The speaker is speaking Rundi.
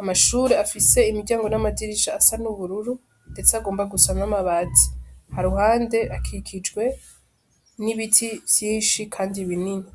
amashure afise imiryango n'amadirisha asa n'ubururu, ndetse agomba gusa n'amabati, haruhande akikijwe n'ibiti vyinshi, kandi binini.